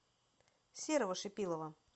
серого шипилова